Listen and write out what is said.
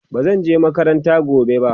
bazan je makaranta gobe ba